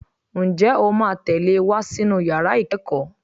Ǹjẹ́ o máa tẹ̀lé e wá sínú yàrá ìkẹ́kọ̀ọ́?